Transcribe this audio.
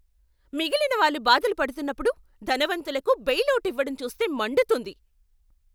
మిగిలినవాళ్ళు బాధలు పడుతున్నప్పుడు, ధనవంతులకు బెయిలవుట్ ఇవ్వటం చూస్తే మండుతుంది.